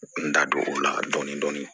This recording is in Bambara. N da don o la dɔɔnin dɔɔnin